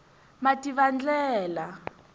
mativandlela